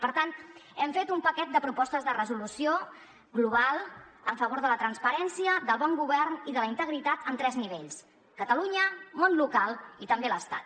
per tant hem fet un paquet de propostes de resolució global a favor de la transparència del bon govern i de la integritat en tres nivells catalunya món local i també l’estat